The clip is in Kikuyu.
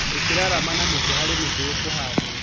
Ikĩraarama na mĩtĩ harĩa mĩtĩ ĩkũhanwo.